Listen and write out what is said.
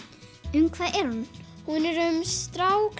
um hvað er hún hún er um strák